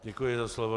Děkuji za slovo.